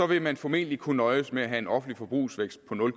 vil man formentlig kunne nøjes med at have en offentlig forbrugsvækst på nul